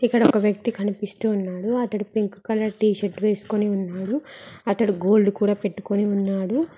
ఇక్కడ ఒక వ్యక్తి కనిపిస్తూ ఉన్నాడు అతడు పింక్ కలర్ టీ షర్ట్ వేసుకుని ఉన్నాడు అతడు గోల్డ్ కూడా పెట్టుకొని ఉన్నారు.